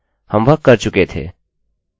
हम वह कर चुके थे